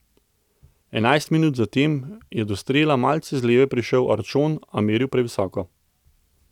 Enajst minut zatem je do strela malce z leve prišel Arčon, a meril previsoko.